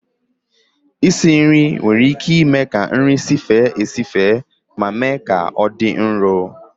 Isi nri nwere ike ime ka nri sife esife ma mee ka ọ dị nro